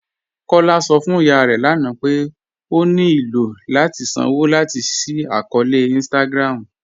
Kọla sọ fún ìyà rẹ lána pé ó ní ilò láti sànwo láti ṣí àkọọ̀lẹ̀ Instagram̀